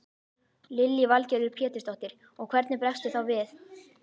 Lillý Valgerður Pétursdóttir: Og hvernig bregstu þá við?